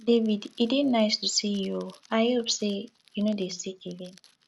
david e dey nice to see you oo i hope say you no dey sick again